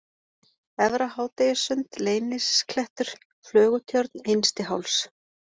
Efra-Hádegissund, Leynisklettur, Flögutjörn, Innsti-Háls